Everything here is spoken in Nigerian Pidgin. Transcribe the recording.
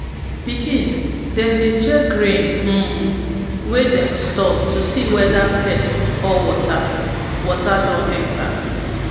pikin dem dey check grain um wey dem store to see whether pest or water water don enter